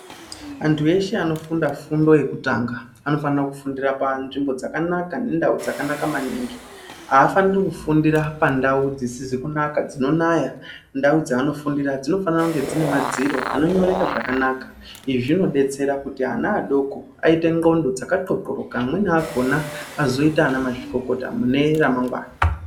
Antu eshe ano funda fundo yekutanga anofanira ku fundira pa nzvimbo dzakanaka ne ndau dzaka naka maningi aafaniri ku fundira pa ndau dzisizi kunaka dzino naya ndau dza vano fundira dzino fana kunge dzine madziro ano nyoreka zvakanaka izvi zvino betsera kuti ana adoko aite ndxondo dzaka ndxo ndxo roka amweni akona azoita ana ma zvikokota mune ra magwana.